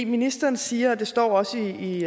ministeren siger og det står også i